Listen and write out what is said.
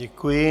Děkuji.